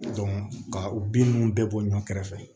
ka u bin nunnu bɛɛ bɔ ɲɔn kɛrɛfɛ